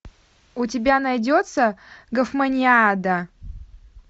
у тебя найдется гофманиада